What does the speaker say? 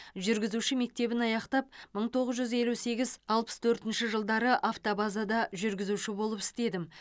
жүргізуші мектебін аяқтап мың тоғыз жүз елу сегіз алпыс төртінші жылдары автобазада жүргізуші болып істедім